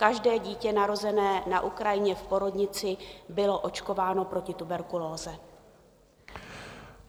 Každé dítě narozené na Ukrajině v porodnici bylo očkováno proti tuberkulóze.